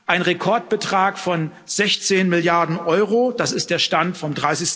Ein Rekordbetrag von 16 Milliarden Euro das ist der Stand vom